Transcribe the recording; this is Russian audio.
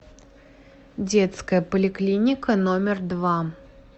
детская поликлиника номер два